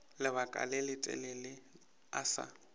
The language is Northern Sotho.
lebaka le letelele a sa